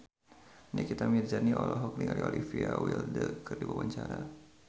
Nikita Mirzani olohok ningali Olivia Wilde keur diwawancara